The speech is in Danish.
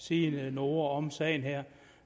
sige noget om sagen her